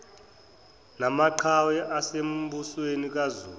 namaqhawe asembusweni kazulu